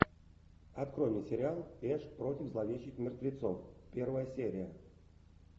открой мне сериал эш против зловещих мертвецов первая серия